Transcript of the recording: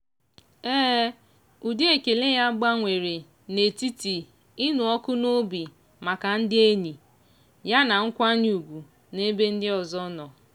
ụdị ekele ya gbanwere n'etiti ịnụ ọkụ n'obi maka ndị enyi ya na nkwanye ugwu n'ebe ndị ọzọ nọ.